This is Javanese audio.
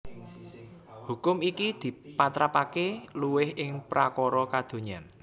Hukum iki dipatrapaké luwih ing prakara kadonyan